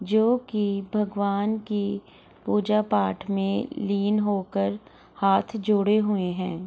जोकि भगवान की पूजा-पाठ में लीन होकर हाथ जोड़े हुए हैं।